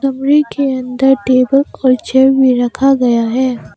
कमरे के अंदर टेबल और चेयर भी रखा गया है।